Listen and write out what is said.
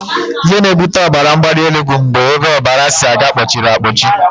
Ihe na-ebute ọbaramgbalịelu bụ mgbe ebe ọbara si aga kpọchiri akpọchi